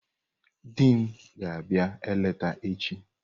Di m ga-abịa eleta echi.